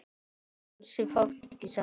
Ansi fátt ekki satt?